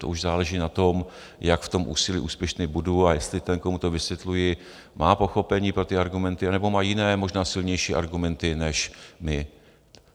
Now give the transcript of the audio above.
To už záleží na tom, jak v tom úsilí úspěšný budu, a jestli ten, komu to vysvětluji, má pochopení pro ty argumenty, nebo má jiné možná silnější argumenty než my.